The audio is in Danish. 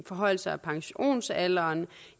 forhøjelser af pensionsalderen